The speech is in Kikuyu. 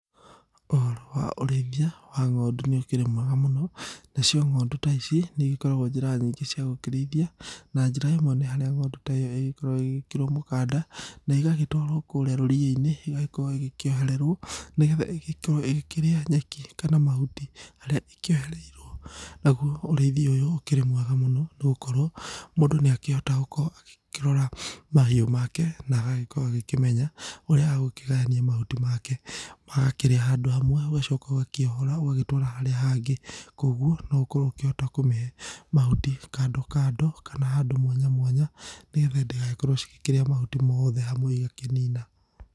ũhoro wa ũrĩithia wa ng'ondu nĩ ũkĩrĩ mwega mũno, nacio ng'ondu ta ici nĩũgĩkoragwo njĩra nyingĩ cia gũkĩrĩithia na njĩra ĩmwe nĩ harĩa ng'ondu ta ĩo ĩgĩkoragwo ĩgĩkĩrwo mũkanda na ĩgagĩtwarwo kũrĩa rũriĩ-inĩ ĩgagĩkorwo ĩgĩkĩohererwo nĩgetha ĩgĩkorwo ĩgĩkĩrĩa nyeki kana mahuti harĩa ĩkĩohereirwo nagwo ũrĩithĩa ũyũ ũkĩrĩ mwega mũno no ũkorwo mũndũ nĩakĩhota gũkorwo agĩkĩrora mahiũ make na agagĩkorwo akĩmenya ũrĩa egũkĩgayania mahuti make magakĩrĩa handũ hamwe ũgacoka ũgakĩohora ũgagĩtwara harĩa hangĩ kogwo no ũkorwo ũkĩhota kũmĩhe handũ kando kando kana handũ mwanya mwanya nĩgetha itigagĩkorwo cĩgĩkĩrĩa mahuti mothe hamwe igagĩkĩnĩna.